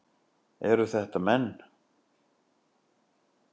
Eru þetta menn?